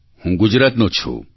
હું ગુજરાતનો છું